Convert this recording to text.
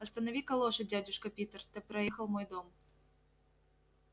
останови-ка лошадь дядюшка питер ты проехал мой дом